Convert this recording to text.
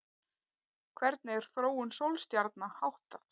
Hvernig er þróun sólstjarna háttað?